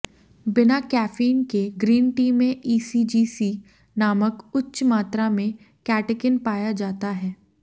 बिना कैफीन के green tea में ईसीजीसी नामक उच्च मात्रा में कैटेकिन पाया जाता है